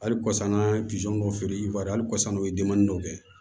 Hali kɔsanna an ye dɔ feere hali kɔsanna o ye denmani dɔ kɛ